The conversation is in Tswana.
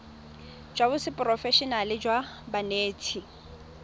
jwa seporofe enale jwa banetshi